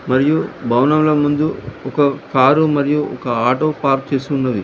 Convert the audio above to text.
మరియు భవనంలో ముందు ఒక కారు మరియు ఒక ఆటో పార్క్ చేసి ఉన్నది.